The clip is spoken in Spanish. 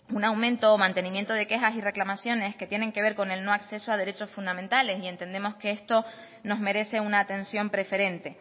un aumento o mantenimiento de quejas y reclamaciones que tienen que ver con el no acceso a derechos fundamentales y entendemos que esto nos merece una atención preferente